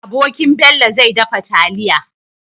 Abokin Bello zai dafa taliya